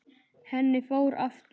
Henni fór aftur.